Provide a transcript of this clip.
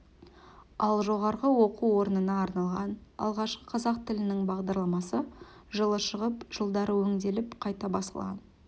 ал жоғарғы оқу орнына арналған алғашқы қазақ тілінің бағдарламасы жылы шығып жылдары өңделіп қайта басылған